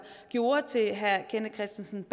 gjorde til herre kenneth kristensen